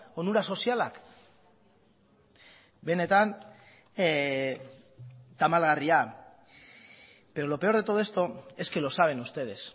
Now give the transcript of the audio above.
onura sozialak benetan tamalgarria pero lo peor de todo esto es que lo saben ustedes